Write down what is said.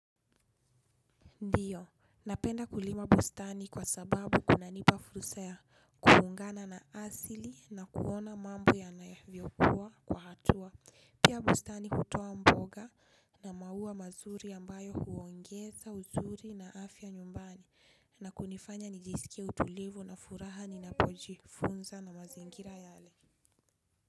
Ndio napenda kulima bustani kwa sababu kunanipa fursa ya kuungana na asili na kuona mambo yanavyo kua kwa hatua. Pia bustani hutoa mboga na maua mazuri ambayo huongeza uzuri na afya nyumbani na kunifanya nijisikie utulivu na furaha ninapojifunza na mazingira yale.